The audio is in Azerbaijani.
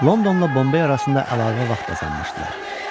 Londonla Bombey arasında əlavə vaxt qazanmışdılar.